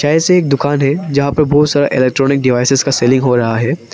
ऐसे ही एक दुकान है जहां पर बहुत सारा इलेक्ट्रॉनिक डिवाइसेज का सेलिंग हो रहा है।